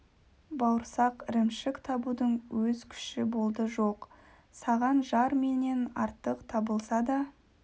бауырсақ ірімшік табудың өз күші болды жоқ саған жар менен артық табылса да